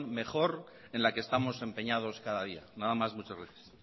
mejor en la que estamos empeñados cada día nada más muchas gracias